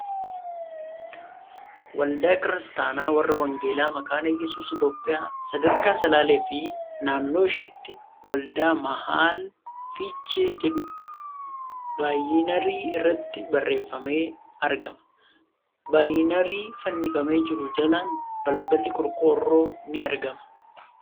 ' Waldaa Kiristaanaa Warra Wangeelaa Makaana Iyyasuus Itiyoophiyaa Sadarkaa Salaalee fi Naannoo Isheetti waldaa Mahaal Fiichee .' Jedhu baayinarii irrattii barreeffamee argama. Baayinarii fannifamee jiru jalaan balballi qorqoorroo ni argama.